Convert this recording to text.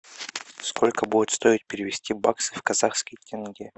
сколько будет стоить перевести баксы в казахские тенге